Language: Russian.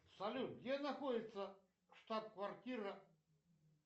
салют где находится штабквартира